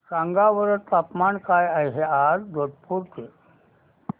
सांगा बरं तापमान काय आहे आज जोधपुर चे